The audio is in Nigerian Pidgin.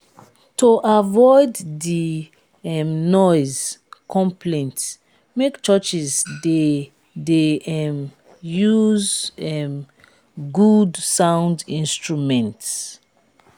to avoid di um noise conplaints make churchs de de um use um good sound instruments